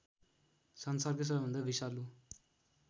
संसारकै सबैभन्दा विषालु